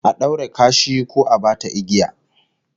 A daure kashi ko a bata igiya